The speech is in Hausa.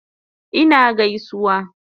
Ina gaisuwa